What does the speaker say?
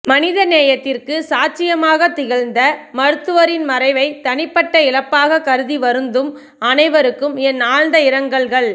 மனிதநேயத்திற்கு சாட்சியமாக திகழ்ந்த மருத்துவரின் மறைவை தனிப்பட்ட இழப்பாக கருதி வருந்தும் அனைவருக்கும் என் ஆழ்ந்த இரங்கல்கள்